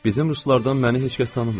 Bizim ruslardan məni heç kəs tanımır.